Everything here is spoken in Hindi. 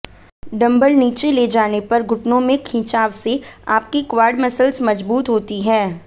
डम्बल नीचे ले जाने पर घुटनों में खिंचाव से आपकी क्वाड मसल्स मजबूत होती हैं